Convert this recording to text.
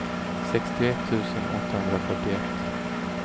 sjuttioett tusen åttahundrafyrtioett